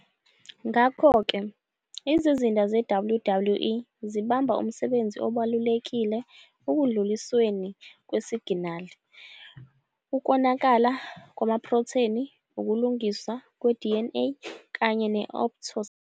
Ngakho-ke, izizinda ze- WWE zibamba umsebenzi obalulekile ekudlulisweni kwesiginali, ukonakala kwamaprotheni, ukulungiswa kwe-DNA kanye ne- apoptosis.